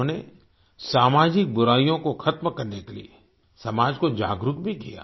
उन्होंने सामाजिक बुराइयों को खत्म करने के लिए समाज को जागरूक भी किया